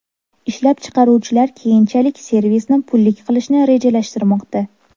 Ishlab chiqaruvchilar keyinchalik servisni pullik qilishni rejalashtirmoqda.